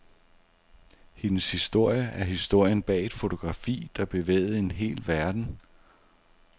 Hendes historie er historien bag et fotografi, der bevægede en hel verden.